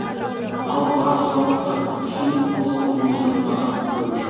ал бар зауыттар күшін толық жұмылдырмаған көрінеді